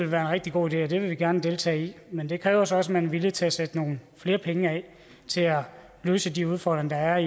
være en rigtig god idé og det vil vi gerne deltage i men det kræver så også at man er villig til at sætte nogle flere penge af til at løse de udfordringer der er